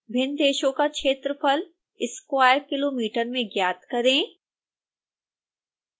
भिन्न देशों का क्षेत्रफल स्क्वेरकिलोमीटर में ज्ञात करें